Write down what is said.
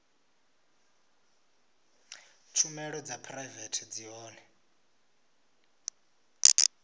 tshumelo dza phuraivete zwi hone